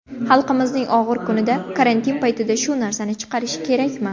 Xalqimizning og‘ir kunida, karantin paytida shu narsani chiqarish kerakmi?